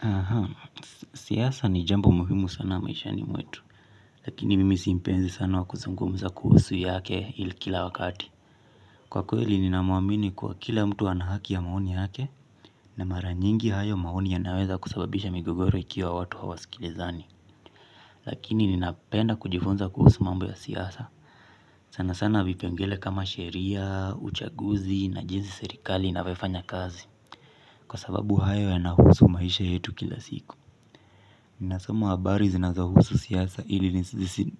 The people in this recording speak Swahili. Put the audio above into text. Aha, siasa ni jambo muhimu sana maishani mwetu, lakini mimi si mpenzi sana wa kuzungumza kuhusu yake ili kila wakati. Kwa kweli ninamwamini kwa kila mtu ana haki ya maoni yake na mara nyingi hayo maoni yanaweza kusababisha migogoro ikiwa watu hawasikilizani. Lakini ninapenda kujifunza kuhusu mambo ya siasa. Sana sana vipengele kama sheria, uchaguzi na jinsi serikali inavyofanya kazi. Kwa sababu hayo yanahusu maisha yetu kila siku. Nina soma habari zinazohusu siasa ili